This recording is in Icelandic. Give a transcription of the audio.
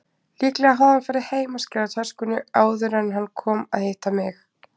Líklega hafði hann farið heim að skila töskunni áður en hann kom að hitta mig.